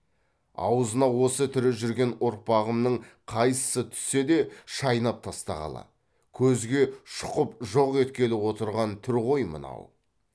аузына осы тірі жүрген ұрпағымның қайсысы түссе де шайнап тастағалы көзге шұқып жоқ еткелі отырған түр ғой мынау